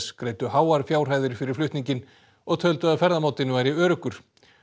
greiddu háar fjárhæðir fyrir flutninginn og töldu að ferðamátinn væri öruggur